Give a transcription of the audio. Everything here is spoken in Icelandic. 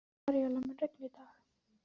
Maríella, mun rigna í dag?